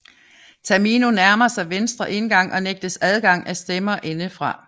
Tamino nærmer sig venstre indgang og nægtes adgang af stemmer indefra